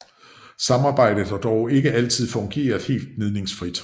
Samarbejdet har dog ikke altid fungeret helt gnidningsfrit